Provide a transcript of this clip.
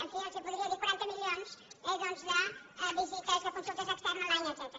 en fi els podria dir quaranta milions eh doncs de visites de consultes externes online etcètera